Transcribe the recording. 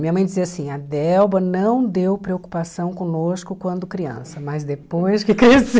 Minha mãe dizia assim, a Delba não deu preocupação conosco quando criança, mas depois que cresceu...